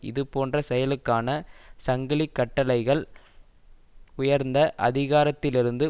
இது போன்ற செயலுக்கான சங்கிலி கட்டளைகள் உயர்ந்த அதிகாரத்திலிருந்து